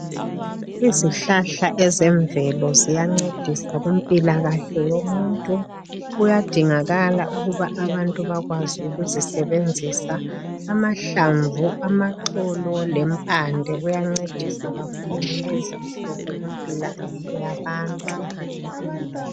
Izihlahla ezemvelo ziyancedisa kumpilakahle yomuntu kuyadingakala ukuba abantu bakwazi ukuzisebenzisa. Amahlamvu,,amaxolo lempande kuyancedisa kakhulu kulezinsuku kumpilakahle yabantu.